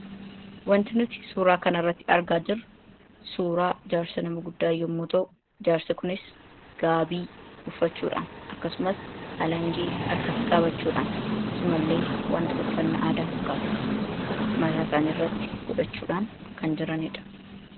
Wanti nuti suuraa kana irratti argaa jirru suuraa jaarsa nama guddaa yommuu ta'u jaarsi kunis gaabii uffachuudhaan akkasumas alangee harkatti qaabachuudhaan akkasuma illee wanta uffanna aadaa fakkaatu mataasaani irratti godhachuudhaan kan jiraniidha.